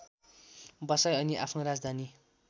बसाई अनि आफ्नो राजधानी